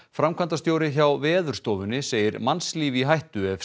framkvæmdastjóri hjá Veðurstofunni segir mannslíf í hættu ef